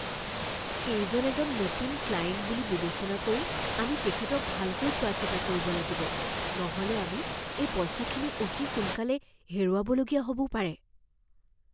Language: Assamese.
এইজন এজন নতুন ক্লায়েণ্ট বুলি বিবেচনা কৰি আমি তেখেতক ভালকৈ চোৱা চিতা কৰিব লাগিব নহ'লে আমি এই পইচাখিনি অতি সোনকালে হেৰুৱাবলগীয়া হ'বও পাৰে।